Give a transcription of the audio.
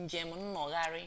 njem nnọgharị